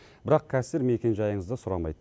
бірақ кассир мекен жайыңызды сұрамайды